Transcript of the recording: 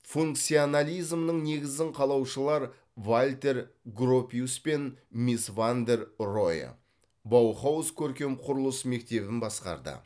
функционализмнің негізін қалаушылар вальтер гропиус пен мис ван дер роэ баухауз көркем құрылыс мектебін басқарды